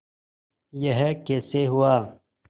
यह कैसे हुआ